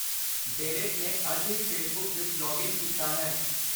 Derek ਨੇ ਅੱਜ ਹੀ ਫੇਸਬੁੱਕ ਵਿੱਚ ਲੌਗਇਨ ਕੀਤਾ ਹੈ